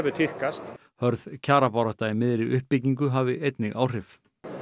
tíðkast hörð kjarabarátta í miðri uppbyggingu hafi einnig áhrif